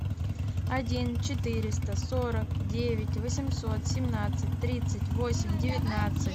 один четыреста сорок девять восемьсот семнадцать тридцать восемь девятнадцать